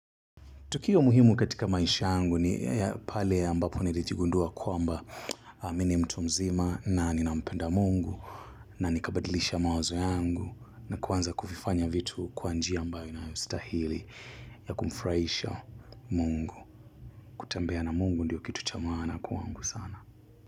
Tukio muhimu katika maisha yangu ni pale ambapo nijigundua kwamba mimi ni mtu mzima na nina mpenda mungu na nikabadilisha mawazo yangu na kuanza kuvifanya vitu kwa njia ambayo inastahili ya kumfurahisha mungu. Kutembea na mungu ndiyo kitu cha maana kwangu sana.